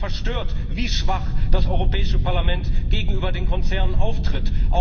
Sie war verstört, wie schwach das Europäische Parlament gegenüber den Konzernen auftritt.